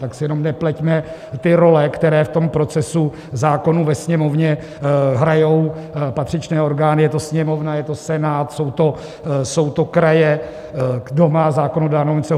Tak si jenom nepleťme ty role, které v tom procesu zákonů ve Sněmovně hrají patřičné orgány, je to Sněmovna, je to Senát, jsou to kraje, kdo má zákonodárnou iniciativu.